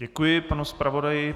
Děkuji panu zpravodaji.